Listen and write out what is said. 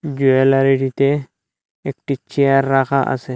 গিয়ালারিটিতে একটি চেয়ার রাখা আসে।